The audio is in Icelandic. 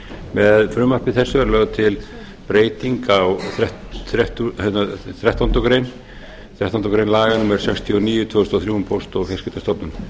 með frumvarpi þessu er lögð til breyting á þrettándu grein laga númer sextíu og níu tvö þúsund og þrjú um póst og fjarskiptastofnun